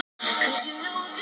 Erla og Örn. Erla og Örn.